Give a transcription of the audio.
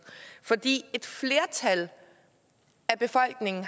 fordi et flertal af befolkningen